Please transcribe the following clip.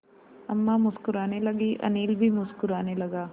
अम्मा मुस्कराने लगीं अनिल भी मुस्कराने लगा